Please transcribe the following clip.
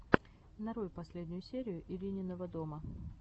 нарой последнюю серию ирининого дома